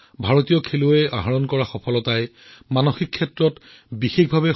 তেনে এক প্ৰেৰণাদায়ক কাহিনী হৈছে ঝাৰখণ্ডৰ ইন্দু প্ৰকাশৰ কাহিনী যিয়ে চাইক্লিঙত দুটাকৈ পদক লাভ কৰিছে